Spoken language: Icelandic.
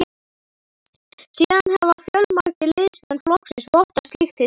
Síðan hafa fjölmargir liðsmenn flokksins vottað slíkt hið sama.